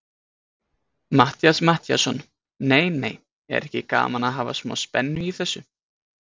Matthías Matthíasson: Nei, nei, er ekki gaman að hafa smá spennu í þessu?